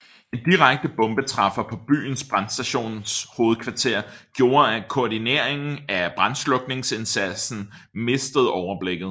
En direkte bombetræffer på byens brandstations hovedkvarter gjorde at koordineringen af brandslukningsindsatsen mistede overblikket